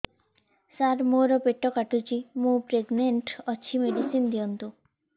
ସାର ମୋର ପେଟ କାଟୁଚି ମୁ ପ୍ରେଗନାଂଟ ଅଛି ମେଡିସିନ ଦିଅନ୍ତୁ